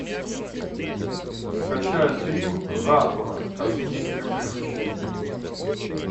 скачай фильм затура космическое приключение